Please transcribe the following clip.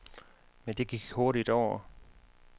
Men det gik hurtigt over.